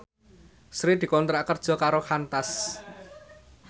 Sri dikontrak kerja karo Qantas